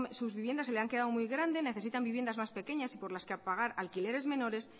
sus viviendas se le han quedado muy grande necesitan viviendas más pequeñas y por las que pagar alquileres menores